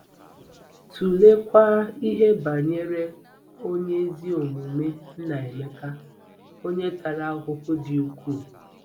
Tụleekwa ihe banyere onye ezi omume Nnaemeka, onye tara ahụhụ dị ukwuu.